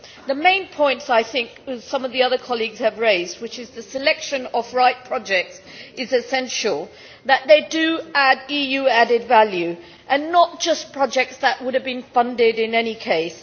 The main points that I think some of the other colleagues have raised are that the selection of the right projects is essential and that they do add EU added value and are not just projects that would have been funded in any case.